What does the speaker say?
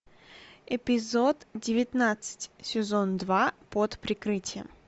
эпизод девятнадцать сезон два под прикрытием